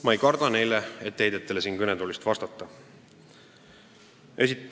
Ma ei karda neile etteheidetele siit kõnetoolist vastata.